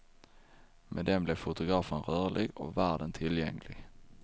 Med den blev fotografen rörlig och världen tillgänglig.